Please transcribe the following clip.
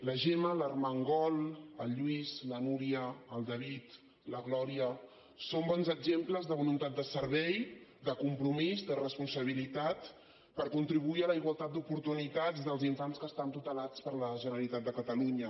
la gemma l’armengol el lluís la núria el david i la glòria són bons exemples de voluntat de servei de compromís de responsabilitat per contribuir a la igualtat d’oportunitats dels infants que estan tutelats per la generalitat de catalunya